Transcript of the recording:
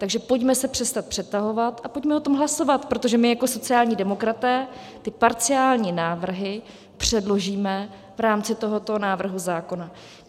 Takže pojďme se přestat přetahovat a pojďme o tom hlasovat, protože my jako sociální demokraté ty parciální návrhy předložíme v rámci tohoto návrhu zákona.